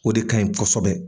O de ka ɲi kosɛbɛ.